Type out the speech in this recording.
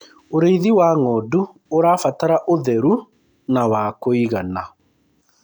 ũrĩithi wa ng'ondu ũrabatara utheru na wa kũigana